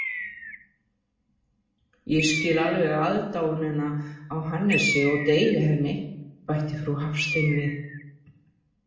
Ég skil alveg aðdáunina á Hannesi og deili henni, bætti frú Hafstein við.